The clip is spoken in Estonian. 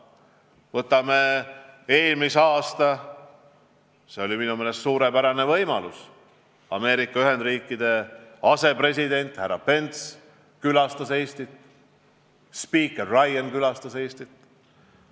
Võtame kas või eelmise aasta: minu meelest see oli suurepärane, et Ameerika Ühendriikide asepresident härra Pence külastas Eestit, et spiiker Ryan külastas Eestit.